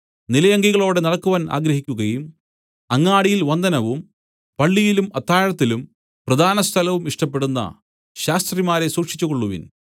നിലയങ്കികളോടെ നടക്കുവാൻ ആഗ്രഹിക്കുകയും അങ്ങാടിയിൽ വന്ദനവും പള്ളിയിലും അത്താഴത്തിലും പ്രധാനസ്ഥലവും ഇഷ്ടപ്പെടുന്ന ശാസ്ത്രിമാരെ സൂക്ഷിച്ചുകൊള്ളുവിൻ